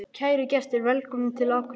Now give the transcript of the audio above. Kæru gestir! Velkomnir til Akureyrar.